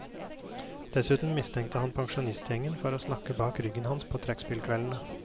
Dessuten mistenkte han pensjonistgjengen for å snakke bak ryggen hans på trekkspillkveldene.